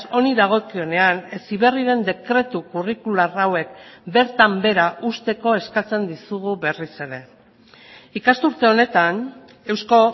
honi dagokionean heziberriren dekretu kurrikular hauek bertan behera uzteko eskatzen dizugu berriz ere ikasturte honetan eusko